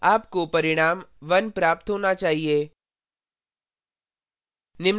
आपको परिणाम 1 प्राप्त होना चाहिए